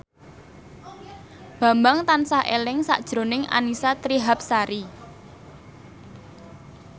Bambang tansah eling sakjroning Annisa Trihapsari